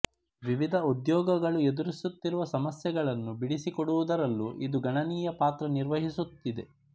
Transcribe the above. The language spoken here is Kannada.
ವಿವಿಧ ಉದ್ಯೋಗಗಳು ಎದುರಿಸುತ್ತಿರುವ ಸಮಸ್ಯೆಗಳನ್ನು ಬಿಡಿಸಿಕೊಡುವುದರಲ್ಲೂ ಇದು ಗಣನೀಯ ಪಾತ್ರ ನಿರ್ವಹಿಸುತ್ತಿದೆ